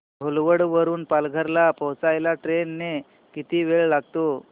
घोलवड वरून पालघर ला पोहचायला ट्रेन ने किती वेळ लागेल